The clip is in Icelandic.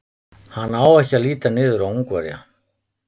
Hann á ekki að líta niður á Ungverja.